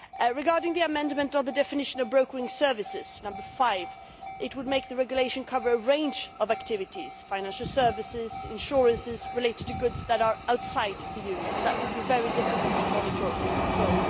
Regarding the amendment on the definition of brokering services, number 5, it would make the regulation cover a range of activities, financial services and insurance related to goods that are outside the Union, and that would be very difficult to monitor and control.